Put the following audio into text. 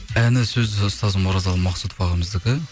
әні сөзі ұстазым оразалы мақсұтов ағамыздікі